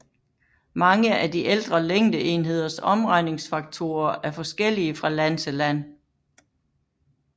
Mange af de ældre længdeenheders omregningsfaktorer er forskellige fra land til land